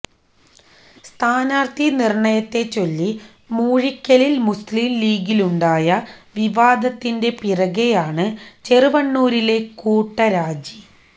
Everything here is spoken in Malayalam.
സ്ഥാനാർഥി നിർണയത്തെച്ചൊല്ലി മൂഴിക്കലിൽ മുസ്ലിം ലീഗിലുണ്ടായ വിവാദത്തിന്റെ പിറകെയാണ് ചെറുവണ്ണൂരിലെ കൂട്ടരാജി